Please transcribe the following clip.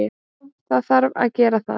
Já, það þarf að gera það.